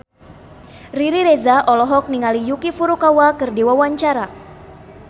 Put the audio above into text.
Riri Reza olohok ningali Yuki Furukawa keur diwawancara